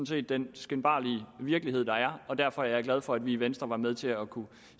set den skinbarlige virkelighed der er og derfor er jeg glad for at vi i venstre var med til at kunne